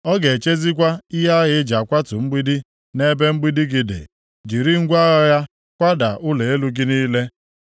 Ọ ga-echezikwa ihe agha e ji akwatu mgbidi nʼebe mgbidi gị dị, jiri ngwa agha ya kwada ụlọ elu gị niile.